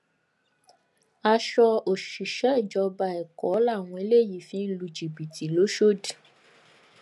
aṣọ òṣìṣẹ ìjọba èkó làwọn eléyìí fi ń lu jìbìtì lọsódì